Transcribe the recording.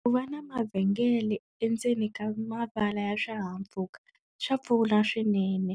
Ku va na mavhengele endzeni ka mavala ya swihahampfhuka swa pfuna swinene